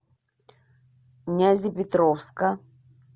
нязепетровска